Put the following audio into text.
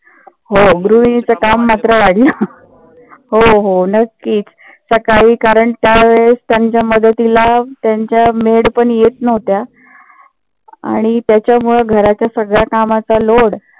हो गृहिणींचे काम मात्र वाढले. हो हो नक्कीच. सकाळी कारण त्यावेळेस त्यांच्या मदतीला त्यांच्या maid पण येत नव्हत्या. आणि त्याच्यामुळ घरातील सगळ्या कामाचा load